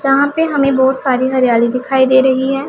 जहां पे हमें बहोत सारी हरियाली दिखाई दे रही है।